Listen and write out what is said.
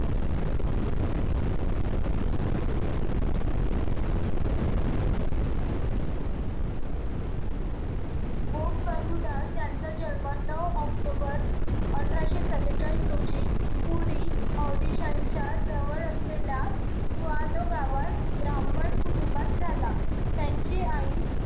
यांचा जन्म नऊ ऑक्टोंबर सत्तेचाळीस रोजी पुरी audition च्या जवळ असलेल्या गावात ब्राह्मण कुटुंबात झाला त्यांची आई